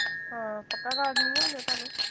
ਹਾਂ, ਪੱਕਾ card ਨੀ ਨਾ ਮਿਲਿਆ ਤੁਹਾਨੂੰ